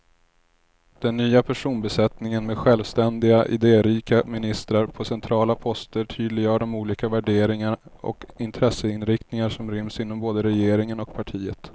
Den nya personbesättningen med självständiga, idérika ministrar på centrala poster tydliggör de olika värderingar och intresseinriktningar som ryms inom både regeringen och partiet.